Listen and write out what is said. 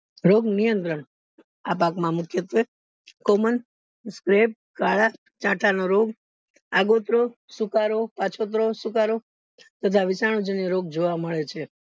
રોગ નિયંત્રણ આ પાક માં મુખ્ય છે common slab કળા સાઠાનો રો આગોત્ત્રો સુકારો પાછોતરો સુકારો તથા જાન્ય રોગ જોવા મળે છે